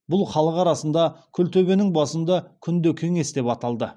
бұл халық арасында күлтөбенің басында күнде кеңес деп аталды